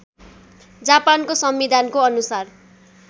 जापानको संविधानको अनुसार